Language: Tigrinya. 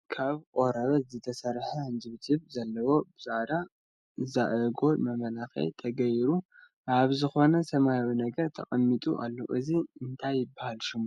ካብ ቆርበት ዝተሰርሐ ሕንጅብ ጅብ ዘለዎ ብፃዕዳ ዛዕጎል መመላክዒ ተገይሩሉ ኣብ ዝኮነ ሰማያዊ ነገር ተቀሚጡ አሎ እዚ እንታይ ይበሃል ስሙ ?